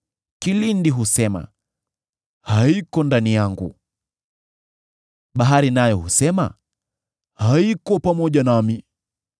Kilindi husema, ‘Haiko ndani yangu’; bahari nayo husema, ‘Haiko pamoja nami.’